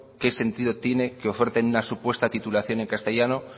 qué sentido tiene que oferten una supuesta titulación en castellano